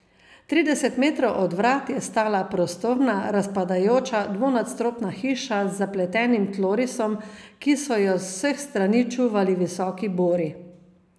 Trideset metrov od vrat je stala prostorna, razpadajoča dvonadstropna hiša z zapletenim tlorisom, ki so jo z vseh strani čuvali visoki bori.